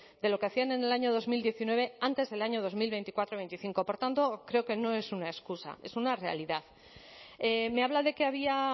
de lo que hacían en el año dos mil diecinueve antes del año dos mil veinticuatro veinticinco por tanto creo que no es una excusa es una realidad me habla de que había